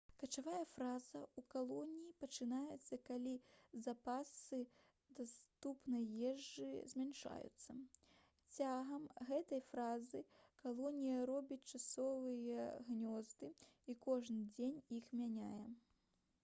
качавая фаза ў калоніі пачынаецца калі запасы даступнай ежы змяншаюцца цягам гэтай фазы калонія робіць часовыя гнёзды і кожны дзень іх мяняе